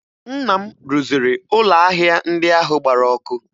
Nna m rụziri ụlọ ahịa ndị ahụ gbara ọkụ